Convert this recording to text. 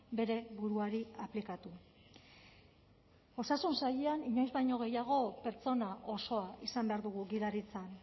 bere buruari aplikatu osasun sailean inoiz baino gehiago pertsona osoa izan behar dugu gidaritzan